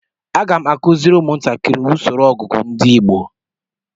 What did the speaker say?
Aga m akụziri ụmụntakiri usoro ọgụgụ ndi igbo